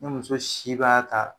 Ne muso si b'a ta